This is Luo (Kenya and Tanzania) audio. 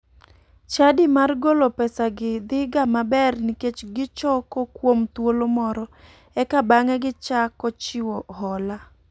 Chadi mar golo pesagi dhiga maber nikech gichoko kuom thuolo moro eka bang'e gichako chiwo hola.